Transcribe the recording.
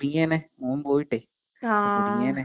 ആഹ് അതെ അതെ അതെ.